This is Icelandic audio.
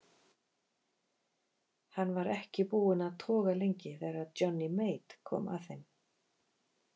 Hann var ekki búinn að toga lengi þegar Johnny Mate kom að þeim.